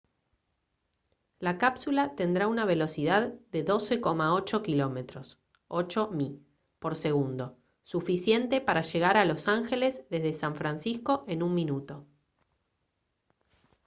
la cápsula tendrá una velocidad de 12,8 km 8 mi por segundo suficiente para llegar a los ángeles desde san francisco en un minuto